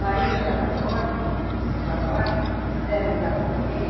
Daí nós ia para fora, para, deram um gado para ele,